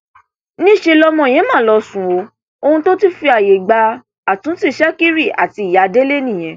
níṣẹ lọmọ yẹn mà lọọ sún ọ ohun tó fi ààyè gba àtúntì ṣèkìrì àti ìyá délé nìyẹn